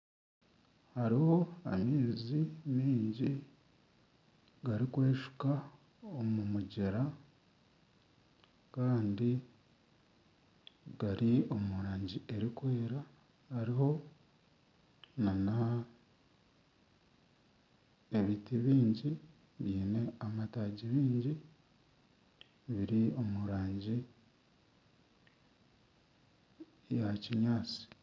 Hariho amaizi mingi gari kweshuka omu mugyera Kandi gari omu rangi erikwera. Hariho nana ebiti bingi biine amatagi mingi biri omu rangi ya kinyaatsi.